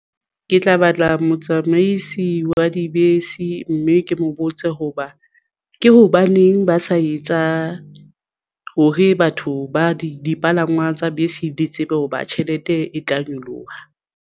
Ke tla batla motsamaisi wa dibese mme ke mo botse hoba ke hobaneng ba sa etsa hore batho ba dipalangwang tsa bese di tsebe hoba tjhelete e tla nyoloha.